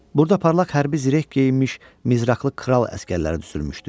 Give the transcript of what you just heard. Burada parlaq hərbi zirək geyinmiş nizraqlı kral əsgərləri düzülmüşdü.